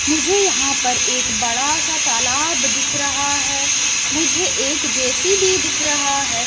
मुझे यहाँ पर एक बड़ा सा तालाब दिख रहा है मुझे एक जेसीबी दिख रहा है।